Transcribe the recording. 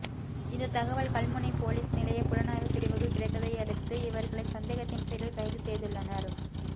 இந்த தகவல் கல்முனை பொலிஸ் நிலைய புலனாய்வு பிரிவுக்கு கிடைத்ததையடுத்து இவர்களை சந்தேகத்தின் பேரில் கைது செய்துள்ளனர்